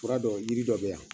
Fura dɔ jiri dɔ bɛ yan